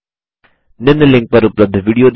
निम्न लिंक पर उपलब्ध विडियो देखें